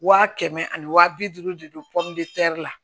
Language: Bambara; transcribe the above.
Wa kɛmɛ ani waa bi duuru de don la